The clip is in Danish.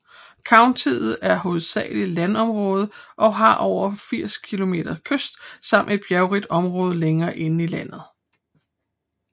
Countiet er hovedsageligt landområde og har over 80 km kyst samt et bjerrigt område længere inde i landet